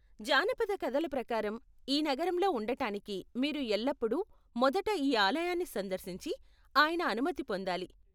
జానపద కథల ప్రకారం, ఈ నగరంలో ఉండటానికి మీరు ఎల్లప్పుడూ మొదట ఈ ఆలయాన్ని సందర్శించి ఆయన అనుమతి పొందాలి.